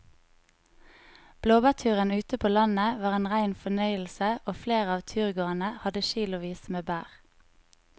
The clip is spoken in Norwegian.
Blåbærturen ute på landet var en rein fornøyelse og flere av turgåerene hadde kilosvis med bær.